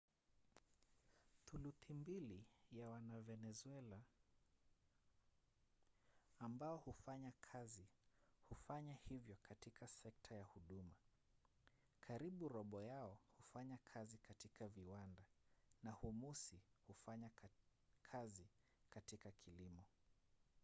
thuluthi mbili ya wavenezuela ambao hufanya kazi hufanya hivyo katika sekta ya huduma karibu robo yao hufanya kazi katika viwanda na humusi hufanya kazi katika kilimo